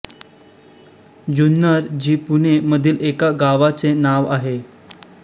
जुन्नर जि पुणे मधील एका गावाचे नाव आहे